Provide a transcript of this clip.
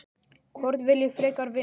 Hvorn vil ég frekar vinna?